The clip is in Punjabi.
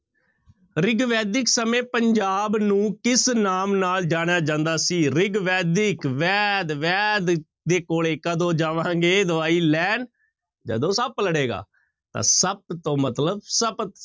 ਰਿਗਵੈਦਿਕ ਸਮੇਂ ਪੰਜਾਬ ਨੂੰ ਕਿਸ ਨਾਮ ਨਾਲ ਜਾਣਿਆ ਜਾਂਦਾ ਸੀ ਰਿਗਵੈਦਿਕ ਵੈਦ ਵੈਦ ਦੇ ਕੋਲੇ ਕਦੋਂ ਜਾਵਾਂਗੇ ਦਵਾਈ ਲੈਣ ਜਦੋਂ ਸੱਪ ਲੜੇਗਾ, ਤਾਂ ਸੱਪ ਤੋਂ ਮਤਲਬ ਸਪਤ